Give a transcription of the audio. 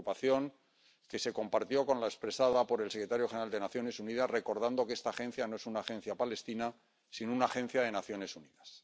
Preocupación que se compartió con la expresada por el secretario general de las Naciones Unidas, recordando que esta agencia no es una agencia palestina sino una agencia de las Naciones Unidas.